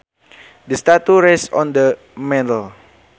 The statue rests on the mantle